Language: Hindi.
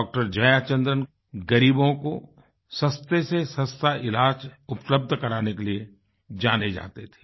डॉक्टर जयाचंद्रन ग़रीबों को सस्तेसेसस्ता इलाज उपलब्ध कराने के लिए जाने जाते थे